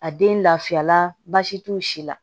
A den lafiya la baasi t'o si la